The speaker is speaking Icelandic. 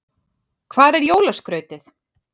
Hvar er jólaskrautið?